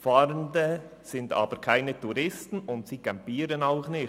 Fahrende sind aber keine Touristen, und sie campieren auch nicht.